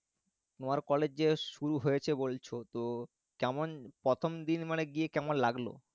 তোমার college যে শুরু হয়েছে বলছো তো কেমন প্রথম দিন মানে গিয়ে কেমন লাগলো